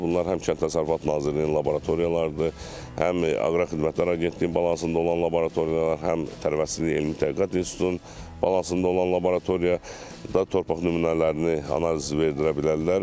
Bunlar həm Kənd Təsərrüfatı Nazirliyinin laboratoriyalarıdır, həm Aqrar Xidmətlər Agentliyinin balansında olan laboratoriyalar, həm Tərəvəzçiliyin Elmi Tədqiqat İnstitutunun balansında olan laboratoriyada torpaq nümunələrini analiz verdirə bilərlər.